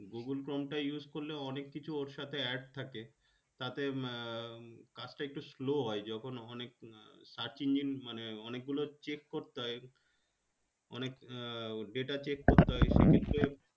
google chrome টা use করলে অনেককিছু ওর সাথে add থাকে তাতে কাজটা একটু slow হয় যখন অনেক search engine মানে অনেকগুলো check করতে হয় অনেক data check করতে হয় সেক্ষেত্রে